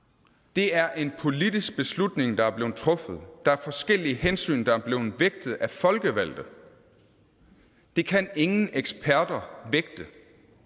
det er en politisk beslutning der er blevet truffet der er forskellige hensyn der er blevet vægtet af folkevalgte det kan ingen eksperter vægte